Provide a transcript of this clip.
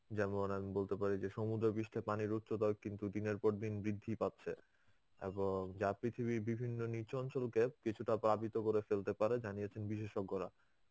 যেমন আমি বলতে পারি যে সমুদ্র পৃষ্ঠা পানির উচ্চতায়ও কিন্তু দিনের পর দিন বৃদ্ধি পাচ্ছে. এবং যা পৃথিবীর বিভিন্ন নিচু অঞ্চল কে কিছুটা প্লাবিত করে ফেলতে পারে জানিয়েছেন বিশেষজ্ঞরা.